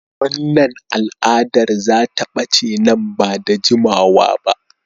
Wannan al'adar za ta bace nan ba da jimawa ba.